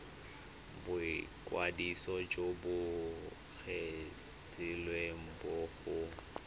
boikwadiso jo bo kgethegileng go